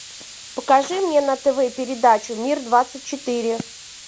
покажи мне на тв передачу мир двадцать четыре